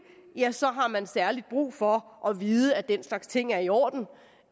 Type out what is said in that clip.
ja så har man særlig brug for at vide at den slags ting er i orden